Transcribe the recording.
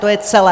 To je celé.